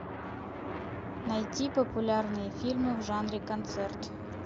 найти популярные фильмы в жанре концерт